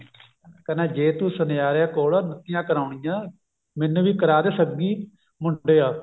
ਕਹਿੰਦਾ ਜੇ ਤੂੰ ਸੁਨਿਆਰੇ ਕੋਲੋ ਨੱਤੀਆਂ ਕਰਾਉਣੀਆਂ ਮੈਨੂੰ ਵੀ ਕਰਾ ਦੇ ਸੱਗੀ ਮੁੰਡਿਆਂ